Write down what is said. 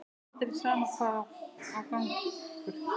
Aldrei, sama hvað á gengur.